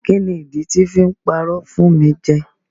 Kíni ìdí tí I fi parọ́ fún mi jẹ.